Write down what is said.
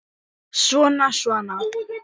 Svona, svona